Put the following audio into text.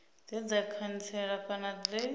dze dza khantsela kana dze